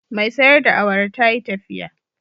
Mai sayar da awara ta yi tafiya